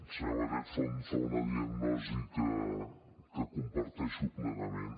senyor batet fa una diagnosi que comparteixo plenament